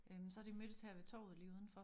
Øh så har de mødtes her ved torvet lige udenfor